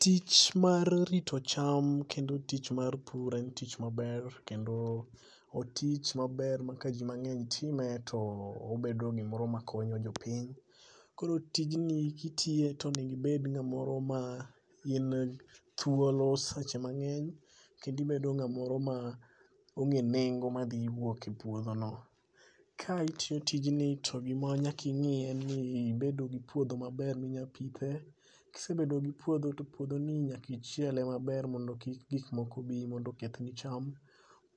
Tich mar rito cham kendo tich mar pur en tich maber kendo o tich maber ma kajimang'eny time to obed gimoro makonyo jopiny, koro tijni kitiye tonego ibed ng'amoro ma in thuolo seche mang'eny kendo ibedo ng'amoro ma ong'e nengo madhiwuok e puodhono. Ka itiyo tijni to gima nyaka ing'i en ni ibedo gi puodho maber minya pithe. Kisebedo gi puodho to puodhoni nyakichiele maber mondo kik gikmoko bi mondo okethni cham.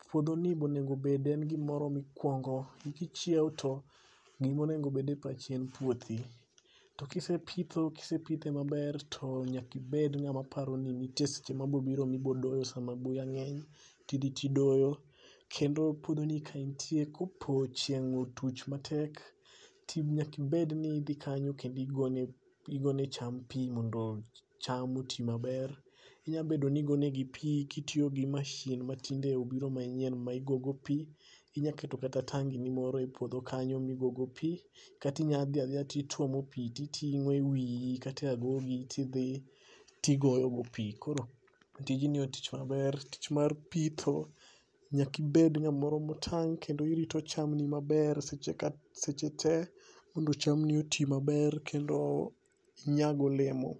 Puodhoni bo onegobed en gimoro mikwongo kichiew to gimonogobed e pachi en puodhi. To kisepithe maber to nyakibed ng'ama paro ni nitie seche mabobiro mibodoyo sama buya ng'eny tidhi tidoyo. kendo puodhoni ka intie kopo chieng' otuch matek to nyakibedni idhi kanyo kendo igone cham pi mondo cham oti maber. Inyabedo ni igonegi pi kitiyo gi mashin matinde obiro manyien ma igogo pi. Inyaketo kata tangini moro e puodho kanyo migogo pi, katinyadhi adhiya tituomo pi titing'o e wiyi kata e agogi tidhi tigoyogo pi. Koro tijni en tich maber tich mar pitho nyakibed ng'amoro motang' kendo irito chamni maber seche te mondo chamni oti maber kendo inyago olemo.